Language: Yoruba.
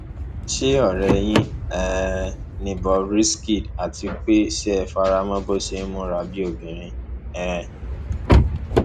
ṣe ọrẹ yín um ni bob risky ni àti pé ṣé ẹ fara mọ bó ṣe ń múra bíi obìnrin um